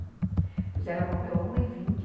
Depois ela morreu a uma e vinte.